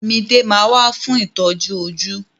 Mide ma wà fún itọju ojú.